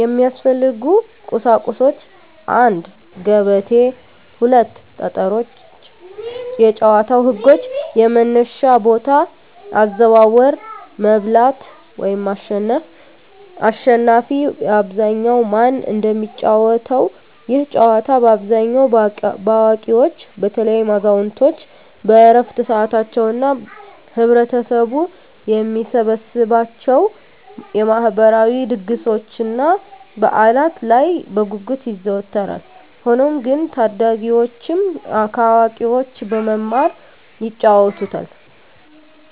የሚያስፈልጉ ቁሳቁሶች 1; ገበቴ 2; ጠጠሮች የጨዋታው ህጎች - የመነሻ ቦታ፣ አዘዋወር፣ መብላት (ማሸነፍ)፣አሽናፊ በአብዛኛው ማን እንደሚጫወተው፤ ይህ ጨዋታ በአብዛኛው በአዋቂዎች (በተለይም አዛውንቶች በዕረፍት ሰዓታቸው) እና ህብረተሰቡ በሚሰበሰብባቸው የማህበራዊ ድግሶችና በዓላት ላይ በጉጉት ይዘወተራል። ሆኖም ግን ታዳጊዎችም ከአዋቂዎች በመማር ይጫወቱታል።